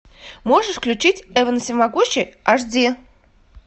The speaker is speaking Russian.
можешь включить эван всемогущий аш ди